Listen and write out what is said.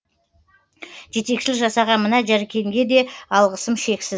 жетекшілік жасаған мына жәркенге де алғысым шексіз